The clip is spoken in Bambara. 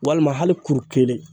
Walima hali kuru kelen.